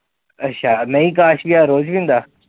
ਅੱਛਾ, ਨਹੀਂ ਕਾਸ਼ ਵੀ ਰੋਜ ਹੁੰਦਾ?